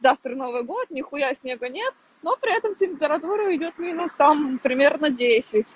завтра новый год нихуя снега нет но при этом температуру идёт минус там примерно десять